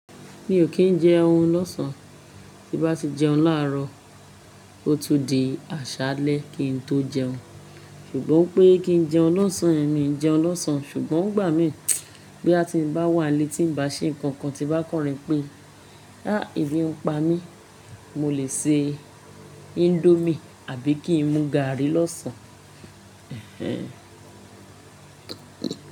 Mi ò kì ń jẹun lọ́sàn án, tí bá ti jẹun láàrọ̀, ó tún di àṣálẹ́ kí n tó jẹun. Ṣùgbọ́n pé kí n jẹun lọ́sàn yen miì jẹun lọ́sàn án, ṣùgbọ́n igbà mí bí a ti ń bá wà ní ti ń ba ṣe nǹkan tí bá kọrin pé "á ìbí ń pa mí", mo lè se Indomie àbí kí n mú gààrí lọ́sàn-án.